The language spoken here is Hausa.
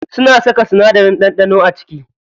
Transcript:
Suna saka sinadarin ɗanɗano a ciki.